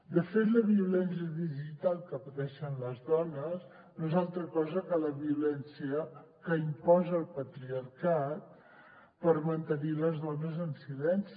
de fet la violència digital que pateixen les dones no és altra cosa que la violència que imposa el patriarcat per mantenir les dones en silenci